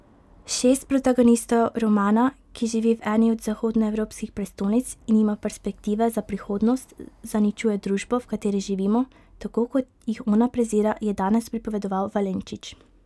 Šest protagonistov romana, ki živi v eni od zahodnoevropskih prestolnic in nima perspektive za prihodnost, zaničuje družbo, v kateri živimo, tako, kot jih ona prezira, je danes pripovedoval Valenčič.